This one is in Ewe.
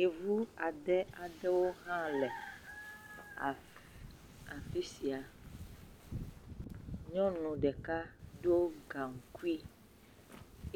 Yevu ade aɖewo hã le af..afi sia, nyɔnu ɖeka do gaŋkui